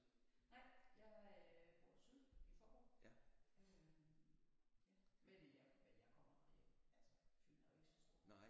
Nej jeg øh bor syd i Faaborg øh ja men jeg men jeg kommer her jo altså Fyn er jo ikke så stor